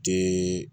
Den